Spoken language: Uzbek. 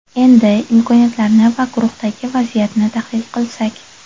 Endi imkoniyatlarni va guruhdagi vaziyatni tahlil qilsak.